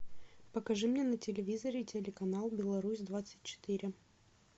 покажи мне на телевизоре телеканал беларусь двадцать четыре